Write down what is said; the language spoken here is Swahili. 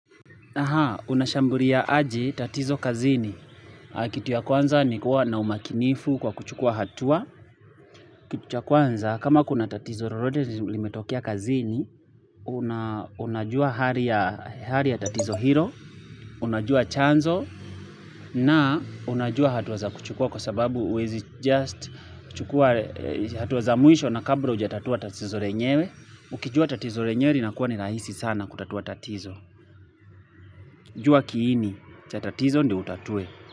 Aha, unashambulia aje tatizo kazini. Kitu ya kwanza ni kuwa na umakinifu kwa kuchukua hatua. Kitu ya kwanza, kama kuna tatizo lolote limetokea kazini, unajua hali ya tatizo hilo, unajua chanzo, na unajua hatua za kuchukua kwa sababu huwezi just, kuchukua hatua za mwisho na kabla hujatatua tatizo lenyewe. Ukijua tatizo lenyewe linakua ni rahisi sana kutatua tatizo. Jua kiini, cha tatizo ndio utatue.